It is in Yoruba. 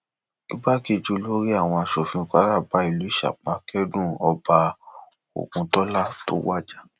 igbákejì olórí àwọn asòfin kwara bá ìlú ìsapá kẹdùn ọba ògùntólá tó wájà